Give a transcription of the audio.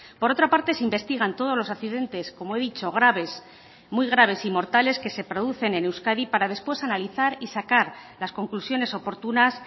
por otra parte se investigan todos los accidentes como he dicho graves muy graves y mortales que se producen en euskadi para después analizar y sacar las conclusiones oportunas